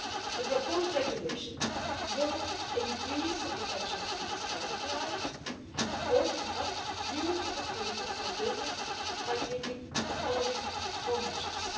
The proposed regulation will increase the protection of people's private lives and open up new opportunities for business by taking the following four measures.